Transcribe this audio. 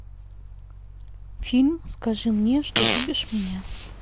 фильм скажи мне что любишь меня